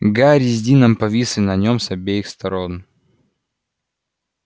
гарри с дином повисли на нём с обеих сторон